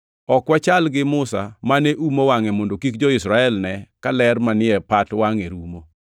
Ok wachal gi Musa mane umo wangʼe mondo kik jo-Israel ne ka ler manie pat wangʼe rumo.